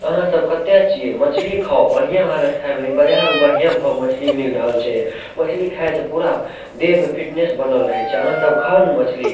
अहाँ सब कता छिये मछली खाव बढ़िया लागत खाय में इ बाजार में बढ़िया भाव मछली मिल रहल छै मछली खाय से पूरा देह मे फिटनेस बनल रहै छै अहाँ सब ख़ाव ने मछली--